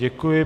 Děkuji.